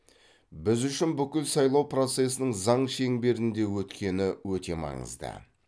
біз үшін бүкіл сайлау процесінің заң шеңберінде өткені өте маңызды